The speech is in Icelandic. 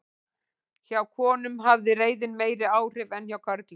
Hjá konum hafði reiðin meiri áhrif en hjá körlum.